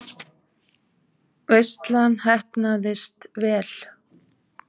Veislan heppnaðist vel.